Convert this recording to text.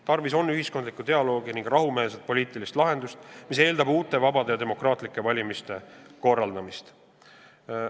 Tarvis on ühiskondlikku dialoogi ning rahumeelset poliitilist lahendust, mis aga eeldab uute vabade ja demokraatlike valimiste korraldamist.